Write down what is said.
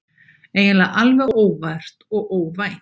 Eiginlega alveg óvart og óvænt.